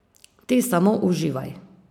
Ti samo uživaj.